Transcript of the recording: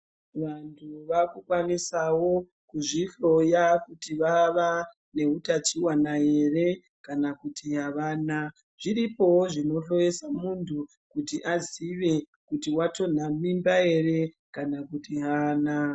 Vantu vakukwanisawo kuzvihloya kuti vava neutachiona ere kana kuti avana. Zviripoo zvinohloyesa muntu kuti aziye kuti watonta mimba ere kana kuti aana.